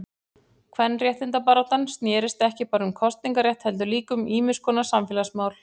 Kvenréttindabaráttan snérist ekki bara um kosningarétt heldur líka um ýmiskonar samfélagsmál.